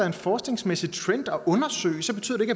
en forskningsmæssig trend at undersøge betyder